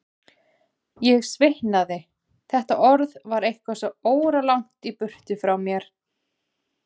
Ég svitnaði, þetta orð var eitthvað svo óralangt í burtu frá mér.